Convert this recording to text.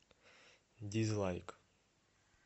дизлайк